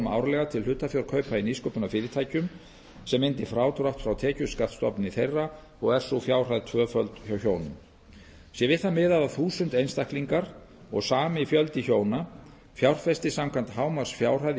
árlega til hlutafjárkaupa í nýsköpunarfyrirtækjum sem myndi frádrátt frá tekjuskattsstofni þeirra og er sú fjárhæð tvöföld hjá hjónum sé við það miðað að þúsund einstaklingar og sami fjöldi hjóna fjárfesti samkvæmt hámarksfjárhæð í